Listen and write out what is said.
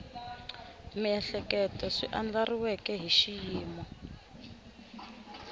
miehleketo swi andlariweke hi xiyimo